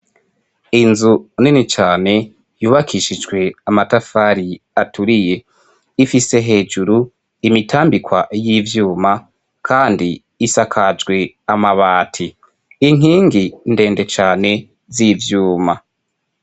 Inzu nini cane, yubakishijwe amatafari aturiye. Ifise hejuru imitambikwa y'ivyuma kandi isakajwe amabati. Inkingi ndende cane z'ivyuma.